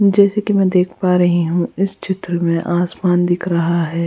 जैसे कि मैं देख पा रही हूँ इस चित्र में आसमान दिख रहा है।